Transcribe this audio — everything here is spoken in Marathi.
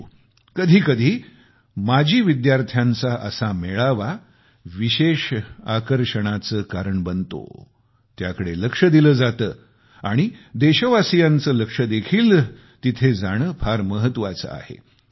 परंतु कधीकधी माजी विद्यार्थ्यांचा असा मेळावा विशेष आकर्षणाचे कारण बनतो त्याकडे लक्ष दिले जाते आणि देशवासीयांचे लक्ष देखील तिथे जाणे फार महत्वाचे आहे